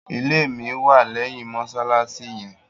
Ìlẹ̀ mi wà lẹyìn mosalasi yẹn.